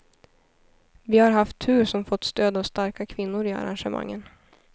Vi har haft tur som fått stöd av starka kvinnor i arrangemangen.